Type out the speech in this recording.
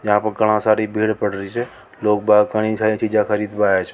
यहां पर घन्ना सारी पेड़ पड रिया छ लोग बाग़ घानी सारी फोटो खींचने आवे छ।